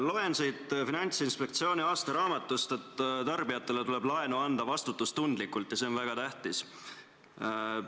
Loen siit Finantsinspektsiooni aastaraamatust, et tarbijatele tuleb laenu anda vastutustundlikult ja see on väga tähtis.